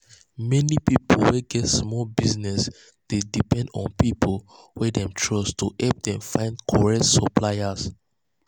many pipu wey get small business dey depend on pipu wey dem trust to help them find correct suppliers.